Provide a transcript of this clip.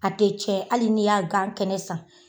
A tɛ cɛn hali ni y'a gan kɛnɛ san